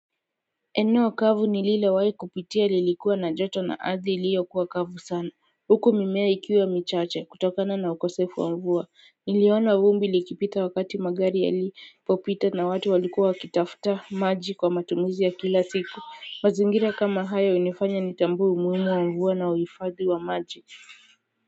Eneo kavu ni lilowahi kupitia lilikuwa na joto na ardhi iliyo kuwa kavu sana huko mimea ikiwa michache kutokana na ukosefu wa mvua niliona vumbi likipita wakati magari ya lipopita na watu walikuwa kitafta maji kwa matumizi ya kila siku mazingira kama hayo hunifanya nitambue umuhimu wa mvua na uifadhi wa maji kwa hivyo.